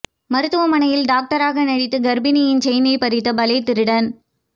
மருத்துவமனையில் டாக்டராக நடித்து கர்ப்பிணியின் செயினை பறித்த பலே திருடன்